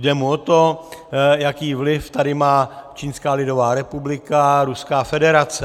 Jde mu o to, jaký vliv tady má Čínská lidová republika a Ruská federace.